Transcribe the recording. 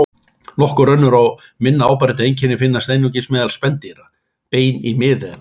Nokkur önnur og minna áberandi einkenni finnast einungis meðal spendýra: Bein í miðeyra.